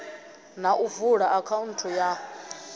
na u vula akhaunthu ya